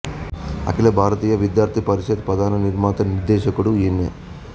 అఖిల భారతీయ విద్యార్థి పరిషత్తు ప్రధాన నిర్మాత నిర్దేశకుడు ఈయనే